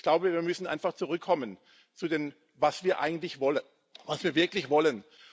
Ich glaube, wir müssen einfach zurückkommen zu dem, was wir eigentlich wollen, was wir wirklich wollen.